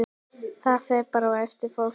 Það fer bara eftir fólki.